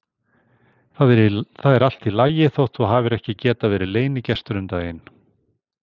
Það er allt í lagi þótt þú hafir ekki getað verið leynigestur um daginn.